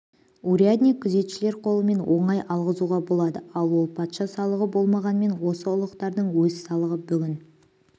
урядник күзетшілер қолымен оңай алғызуға болады ал ол патша салығы болмағанмен осы ұлықтардың өз салығы бүгін